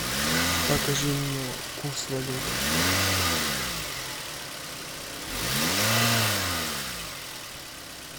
покажи мне курс валют